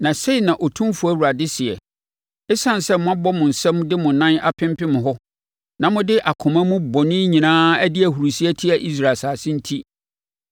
Na sei na Otumfoɔ Awurade sɛe: Esiane sɛ moabɔ mo nsam de mo nan apempem hɔ, na mo de akoma mu bɔne nyinaa adi ahurisie atia Israel asase enti,